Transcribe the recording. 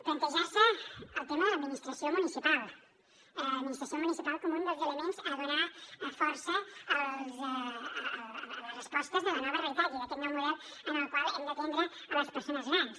plantejar se el tema de l’administració municipal administració municipal com un dels elements a donar força a les respostes de la nova realitat i d’aquest nou model en el qual hem d’atendre les persones grans